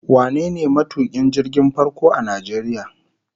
Wane ne matukin jirgin farko a Najeriya?